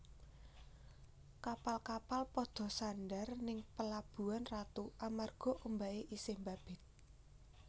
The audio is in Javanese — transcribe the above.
Kapal kapal podo sandar ning Pelabuhan Ratu amarga ombake isih mbabit